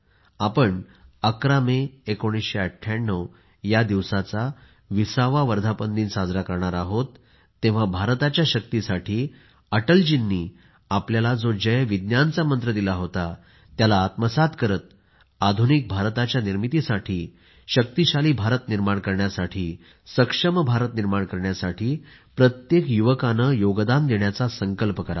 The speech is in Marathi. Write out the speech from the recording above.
आपण 11 मे 1998 या दिवसाचा 20 वा वर्धापनदिन साजरा करणार आहोत तेव्हा भारताच्या शक्तीसाठी अटलजींनी आपल्याला जोजय विज्ञानचा मंत्र दिला होता त्याला आत्मसात करत आधुनिक भारताच्या निर्मितीसाठी शक्तिशाली भारत निर्माण करण्यासाठी सक्षम भारत निर्माण करण्यासाठी प्रत्येक युवकाने योगदान देण्याचा संकल्प करावा